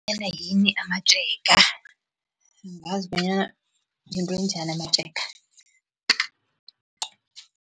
yini amatjega, angazi bonyana yinto enjani amatjega.